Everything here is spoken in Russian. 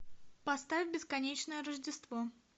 поставь бесконечное рождество